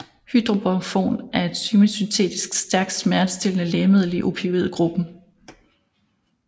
Hydromorphon er et semisyntetisk stærkt smertestillende lægemiddel i opioid gruppen